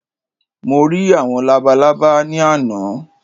Mo rí àwọn labalábá ní àná